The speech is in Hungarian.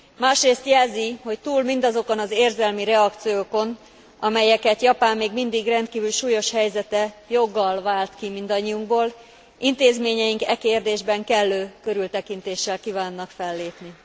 Másrészt jelzi, hogy túl mindazokon az érzelmi reakciókon, amelyeket Japán még mindig rendkívül súlyos helyzete joggal vált ki mindannyiunkból, intézményeink e kérdésben kellő körültekintéssel kívánnak fellépni.